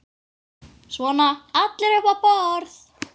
Svona allir upp á borð